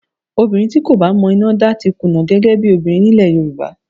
Obìnrin tí kò bá mọ iná dá ti kùnà gẹ́gẹ́ bí obìnrin nílẹ̀ Yorùbá